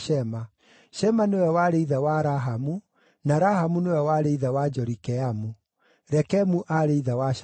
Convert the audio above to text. Shema nĩwe warĩ ithe wa Rahamu, na Rahamu nĩwe warĩ ithe wa Jorikeamu. Rekemu aarĩ ithe wa Shamai.